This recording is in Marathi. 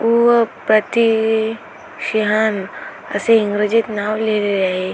उव प्रति शीहान असे इंग्रजीत नाव लिहिलेले आहे.